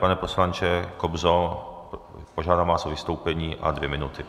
Pane poslanče Kobzo, požádám vás o vystoupení a dvě minuty.